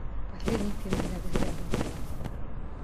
последний фильм звягинцева